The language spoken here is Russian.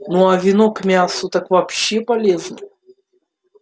ну а вино к мясу так вообще полез